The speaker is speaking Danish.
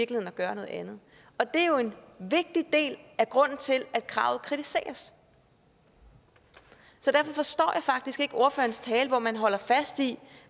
til at gøre noget andet og det er jo en vigtig del af grunden til at kravet kritiseres så derfor forstår jeg faktisk ikke ordførerens tale om at holde fast i